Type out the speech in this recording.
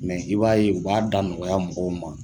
i b'a ye u b'a da nɔgɔya mɔgɔw ma.